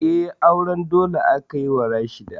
Eh, auren dole aka yi wa Rashida